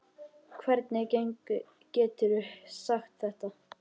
Hvernig geturðu sagt þetta?